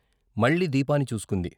మళ్ళీ దీపాన్ని చూసుకుంది.